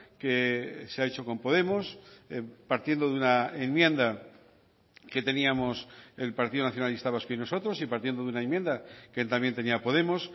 que se ha hecho con podemos partiendo de una enmienda que teníamos el partido nacionalista vasco y nosotros y partiendo de una enmienda que también tenía podemos